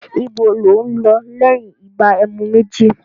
Ibo lò ún lọ lẹ́yìn ìgbà ẹmu méjì?